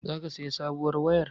Zaka sayi sabuwar wayar?